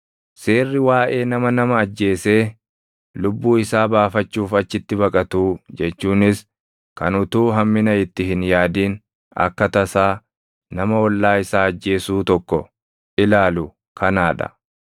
Seerri waaʼee nama nama ajjeesee lubbuu isaa baafachuuf achitti baqatuu jechuunis kan utuu hammina itti hin yaadin akka tasaa nama ollaa isaa ajjeesuu tokko ilaalu kanaa dha.